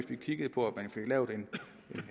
vi kiggede på